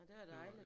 Nå det var dejligt